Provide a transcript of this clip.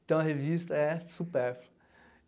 Então, a revista é superflua.